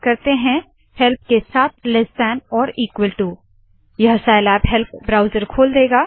चलिए टाइप करते है help this opens the Scilab help browser